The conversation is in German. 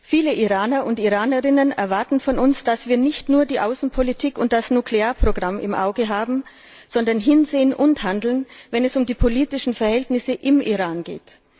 Viele Iraner und Iranerinnen erwarten von uns, dass wir nicht nur die Außenpolitik und das Nuklearprogramm im Auge haben, sondern hinsehen und handeln, wenn es um die politischen Verhältnisse im Iran geht.